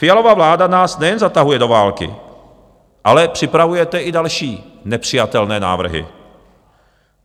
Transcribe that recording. Fialova vláda nás nejen zatahuje do války, ale připravujete i další nepřijatelné návrhy.